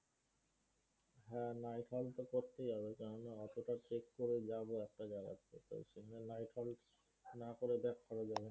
হ্যাঁ, night halt তো করতেই হবে, কেন না এতটা trek করে যাবো একটা জায়গায় সেখানে night halt না করে back করা যাবেনা।